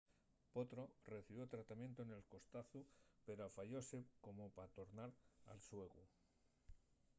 potro recibió tratamientu nel costazu pero afayóse como pa tornar al xuegu